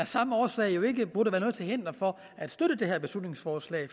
samme årsag ikke burde være noget til hinder for at støtte det her beslutningsforslag